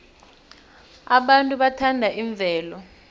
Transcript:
abantu bathanda imvelo